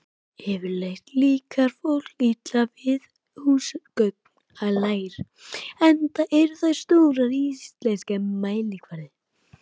Yfirleitt líkar fólki illa við húsaköngulær enda eru þær stórar á íslenskan mælikvarða.